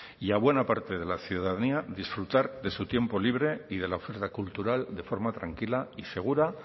y a buena parte de la ciudadanía disfrutar de su tiempo libre y de la oferta cultural de forma tranquila y segura